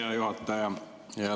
Hea juhataja!